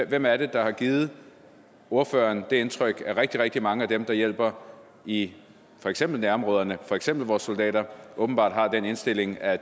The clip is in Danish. hvem er det der har givet ordføreren det indtryk er rigtig rigtig mange af dem der hjælper i for eksempel nærområderne for eksempel vores soldater åbenbart har den indstilling at